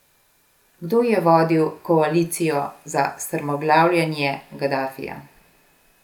Kdo je vodil koalicijo za strmoglavljenje Gadafija?